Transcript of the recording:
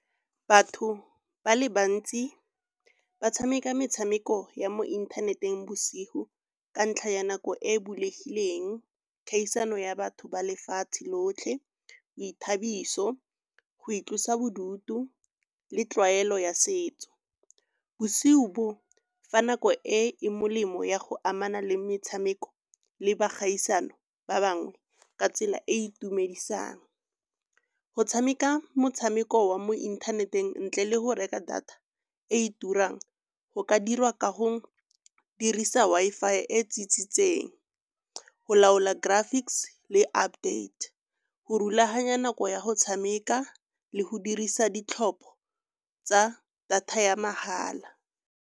Batho ba le bantsi ba tshameka metshameko ya mo inthaneteng bosigo ka ntlha ya nako e bulegileng, kgaisano ya batho ba lefatshe lotlhe, boithabiso, go itlosa bodutu le tlwaelo ya setso. Bosigo bo fa nako e e molemo ya go amana le metshameko le bogaisano ba bangwe ka tsela e e itumedisang. Go tshameka motshameko wa mo inthaneteng ntle le go reka data e turang go ka dirwa ka go dirisa Wi-Fi e tsitsitseng, go laola graphics le update, go rulaganya nako ya go tshameka le go dirisa ditlhopho tsa data ya mahala.